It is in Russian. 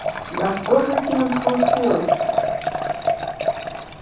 да что же с ним случилось